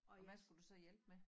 Og hvad skulle du så hjælpe med?